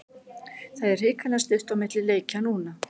Það er hrikalega stutt á milli leikja núna.